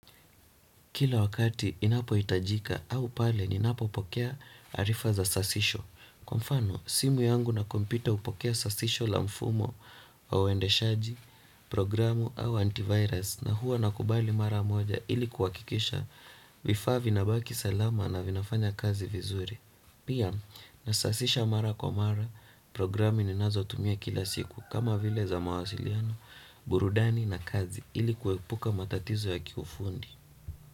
Kila wakati inapohitajika au pale ninapo pokea arifa za sasisho. Kwa mfano, simu yangu na kompyuta hupokea sasisho la mfumo au endeshaji, programu au antivirus na huwa nakubali mara moja ili kuhakikisha vifaa vina baki salama na vinafanya kazi vizuri. Pia, nasasisha mara kwa mara, programu ninazo tumia kila siku kama vile za mawasiliano, burudani na kazi ili kuepuka matatizo ya kiufundi.